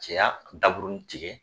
Cɛya daburunin tigɛ